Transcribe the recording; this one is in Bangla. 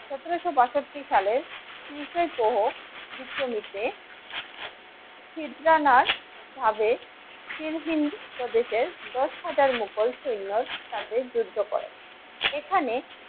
সতেরশো বাষট্টি সালের তিরিশে প্রহ চিত্রনীতি ভাবে সিনহি প্রদেশের দশ হাজার মোঘল সৈন্য সাথে যুদ্ধ করে এখানে